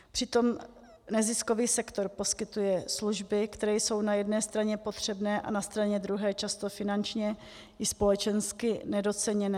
Přitom neziskový sektor poskytuje služby, které jsou na jedné straně potřebné a na straně druhé často finančně i společensky nedoceněné.